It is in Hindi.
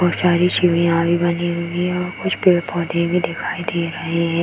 और सारी सीढ़ियां भी बनी हुई है और कुछ पेड़-पौधे भी दिखाई दे रहे हैं।